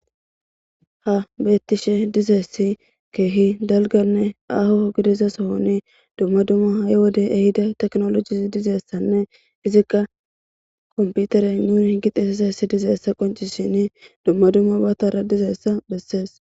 Ha beettishe dizeessi keehi dalganne aho gideza sohoni dumma dumma ha'e wode ehida teknolojisi dizeessanne izikka komputere muur h gixesesessi dizeessa qoncishini dumma dumma batara dizeessa bessees.